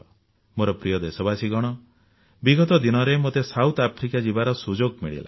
ମୋର ପ୍ରିୟ ଦେଶବାସୀଗଣ ବିଗତ ଦିନରେ ମୋତେ ଦକ୍ଷିଣ ଆଫ୍ରିକା ଯିବାର ସୁଯୋଗ ମିଳିଲା